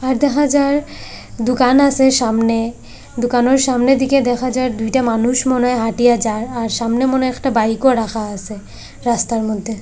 আর দেখা যার দুকান আছে সামনে দুকানোর সামনের দিকে দেখা যার দুইটা মানুষ মনে হয় হাঁটিয়া যার আর সামনে মনে হয় একটা বাইকও রাখা আসে রাস্তার মধ্যে।